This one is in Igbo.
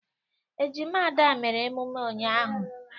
Ejima Ada mere emume ụnyahụ.